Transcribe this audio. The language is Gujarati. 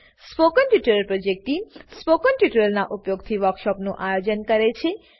spoken tutorial project team spoken ટ્યુટોરીયલોનાં ઉપયોગથી વર્કશોપોનું આયોજન કરે છે